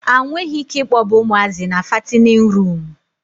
A nweghi ike ịkpọba ụmụazị na fatinin ruumụ.